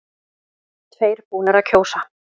Tveir búnir að kjósa